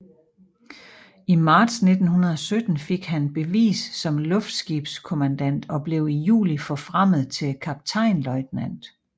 I marts 1917 fik han bevis som luftskibskommandant og blev i juli forfremmet til kaptajnløjtnant